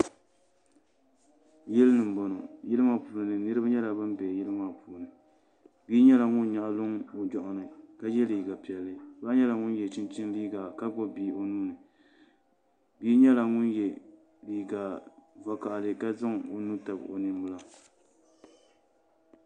Yili n boŋo niraba nyɛla bin bɛ yili maa puuni . Bia nyɛla ŋun nyaɣa luŋ o joɣani kq yɛ liiigq piɛlli ba nyɛla ŋun yɛ chinchin liiga ka gbubi bia o nuuni bia nyɛla ŋun yɛ liigq vakaɣali ka zaŋ o nuu tabi o ninbila